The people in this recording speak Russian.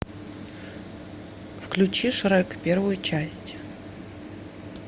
включи шрек первую часть